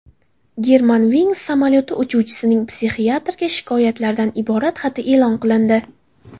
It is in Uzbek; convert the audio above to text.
Germanwings samolyoti uchuvchisining psixiatrga shikoyatlardan iborat xati e’lon qilindi.